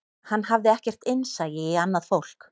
Hann hafði ekkert innsæi í annað fólk